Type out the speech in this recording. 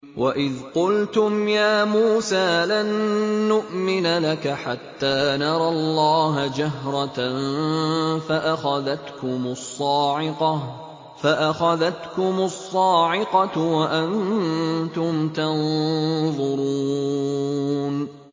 وَإِذْ قُلْتُمْ يَا مُوسَىٰ لَن نُّؤْمِنَ لَكَ حَتَّىٰ نَرَى اللَّهَ جَهْرَةً فَأَخَذَتْكُمُ الصَّاعِقَةُ وَأَنتُمْ تَنظُرُونَ